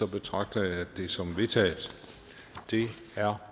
betragter jeg det som vedtaget det er